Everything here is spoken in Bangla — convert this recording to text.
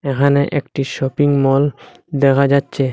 এখানে একটি শপিং মল দেখা যাচ্ছে।